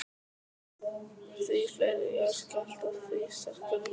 Því fleiri jarðskjálftar, því sterkari hús.